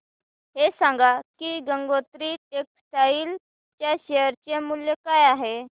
हे सांगा की गंगोत्री टेक्स्टाइल च्या शेअर चे मूल्य काय आहे